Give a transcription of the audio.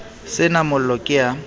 se na mollo ke a